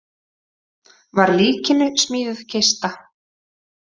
Var líkinu smíðuð kista.